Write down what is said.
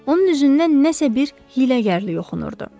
Onun üzündən nəsə bir hiyləgərlik oxunurdu.